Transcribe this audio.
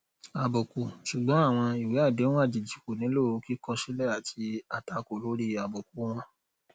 àbùkù ṣùgbọn àwọn ìwé àdéhùn àjèjì kò nílò kíkọ sílẹ àti àtakò lórí àbùkù wọn